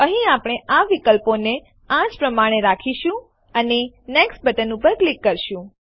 અહીં આપણે આ વિકલ્પો ને આ જ પ્રમાણે રાખીશું અને નેક્સ્ટ બટન ઉપર ક્લિક કરીશું